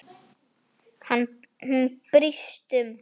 Hún brýst um.